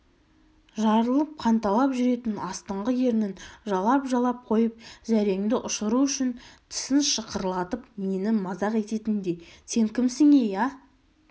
жарылып қанталап жүретін астыңғы ернін жалап-жалап қойып зәреңді ұшыру үшін тісін шақырлатып мені мазақ ететіндей сен кімсің-ей ә